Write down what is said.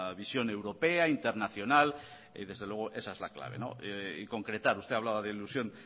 visión europea internacional y desde luego esa es la clave y concretar usted hablaba de ilusión